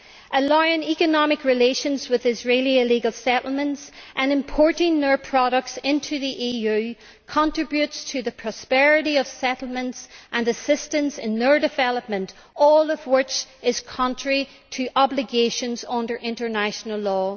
Allowing economic relations with Israeli illegal settlements and importing their products into the EU contributes to the prosperity of those settlements and assists in their development, all of which is contrary to obligations under international law.